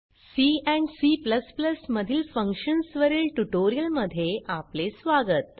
C and C मधील functions वरील ट्युटोरियलमध्ये आपले स्वागत